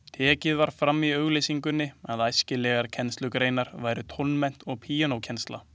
Tekið var fram í auglýsingunni að æskilegar kennslugreinar væru tónmennt og píanókennsla.